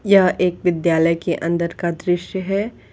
यह एक विद्यालय के अंदर का दृश्य है।